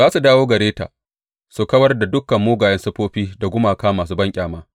Za su dawo gare ta su kawar da dukan mugayen siffofi da gumaka masu banƙyama.